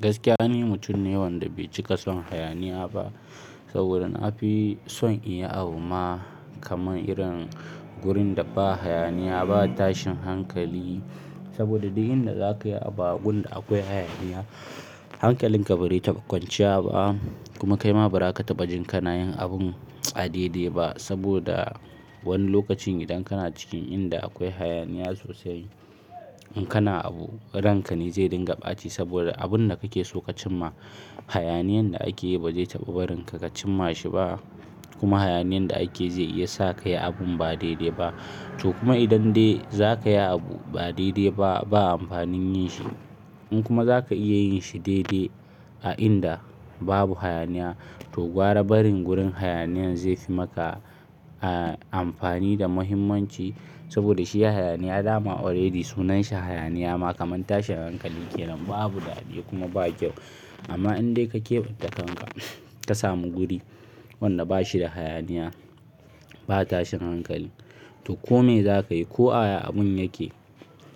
Gaskiya ni mutum ne wanda bai cika son hayaniya ba. Saboda na fi son in yi abu ma kamar irin gurin da ba hayaniya, ba tashin hankali. Saboda duk inda za ka yi abu gun da akwai hayaniya, hankalinka bare taɓa kwanciya ba. Kuma kai ma bara ka taɓa jin ka nayin abun a daidai ba. Saboda wani lokacin idan kana cikin inda akwai hayaniya sosai, in kana abu ranka ne zai dinga ɓaci. Saboda abun da kake so ka cimma, hayaniyan da ake yi ba zai taɓa barin ka ka cimma shi ba. Kuma hayaniyan da ake zai iya sa ka yi abun ba daidai ba. To kuma idan dai za ka yi abu ba daidai ba, ba amfanin yin shi. In kuma za ka iya yin shi daidai a inda babu hayaniya, to gwara barin gurin hayaniyan zai fi maka, amfani da muhimmanci. Saboda shi ya hayaniya dama already sunan shi hayaniya ma kaman tashin hankali kenan. Babu daɗi kuma ba kyau. Amma in dai ka keɓance kanka ka samu guri wanda ba shi da hayaniya. Ba tashin hankali, to ko me za ka yi, ko aya abun yake,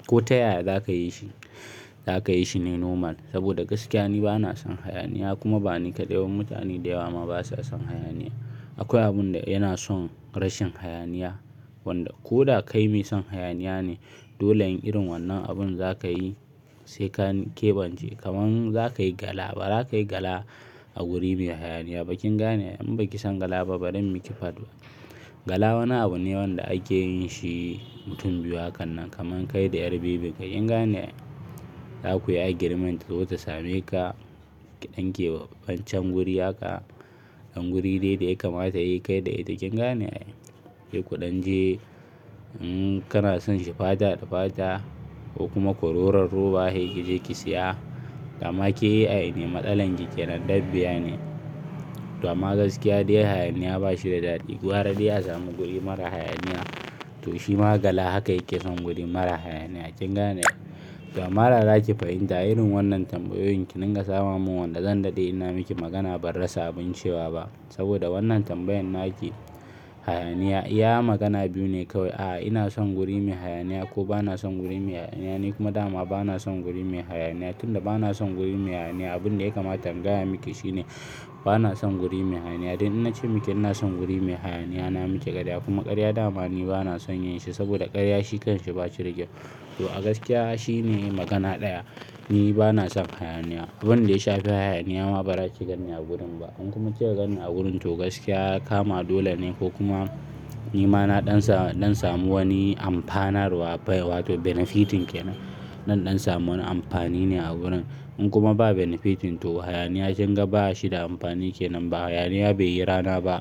ko ta yaya za ka yi shi, za ka yi shi ne normal. Saboda gaskiya ni ba na son hayaniya kuma ba ni kaɗai ba mutane da yawa ma basa son hayaniya. Akwai abun da yana son rashin hayaniya. Wanda ko da kai mai son hayaniya ne, dole in irin wannan abun za ka yi sai ka keɓance. Kaman za ka yi gala, ba za ka yi gala a wuri mai hayaniya ba. Kin gane? In baki san gala ba bari in miki faɗo. Gala wani abu ne wanda ake yin shi mutum biyu hakannan kaman kai da ƴar bibin ka. Kin gane ai? Za ku yi agreement ta zo ta same ka, ki ɗinke wa wancan wuri haka. Dan guri dai da ya kamata e kai da ita kin gane ai. Yana kuɗan je, kana son shi fata da fata, ko kuma kururar ruwa yake zai ki siya. Dama ke yi a aini, matsalan ki ƙyanan dabbiya ne. Dama gaskiya dai hayaniya ba shi da daɗi. Gwara dai a samu guri mara hayaniya to shi ma gala haka yake son guri mara hayaniya. Kin gane? To amma da za ki fahimta irin wannan tambayoyin ki ringa samamun wanda zan daɗe ina miki magana ban rasa abun cewa ba. Saboda wannan tambayan naki, hayaniya, iya magana biyu ne kawai. A ina son guri mai hayaniya ko ba na son guri mai hayaniya. Ni kuma dama ba na son guri mai hayaniya. Tun da ba na son guri mai hayaniya, abun da ya kamata in gaya miki shi ne ba na son guri mai hayaniya. Dan in nace miki ina son guri mai hayaniya na miki ƙarya. Kuma ƙarya dama ni ba na son yin shi. Saboda ƙarya shi kansa ba shi da kyau. To a gaskiya shi ne magana ɗaya, ni ba na son hayaniya. Duk wanda ya shafi hayaniya ma bara ki ganni a gurin ba, in kuma kika ganni a gurin to gaskiya ya kama dole ne ko kuma nima na ɗan samu, zan samu wani amfana amfanarwa bai wato benefitting dai. Zan ɗan samu wani amfani ne a gurin. In kuma ba benefitting to hayaniya kinga ba shi da amfani kenan ba. Hayaniya bai yi rana ba.